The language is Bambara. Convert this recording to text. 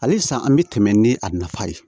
Halisa an bɛ tɛmɛ ni a nafa ye